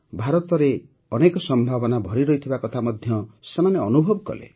ଭାରତରେ ଅନେକ ସମ୍ଭାବନା ଭରି ରହିଥିବା କଥା ମଧ୍ୟ ସେମାନେ ଅନୁଭବ କଲେ